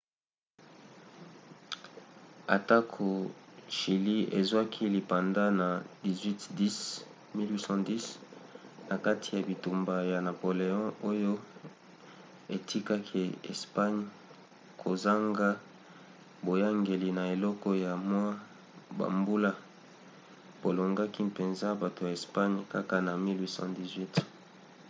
atako chilie ezwaki lipanda na 1810 na kati ya bitumba ya napoléon oyo etikaki espagne kozanga boyangeli na eleko ya mwa bambula bolongaki mpenza bato ya espagne kaka na 1818